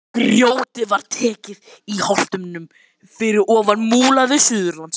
Grjótið var tekið í holtinu fyrir ofan Múla við Suðurlandsbraut.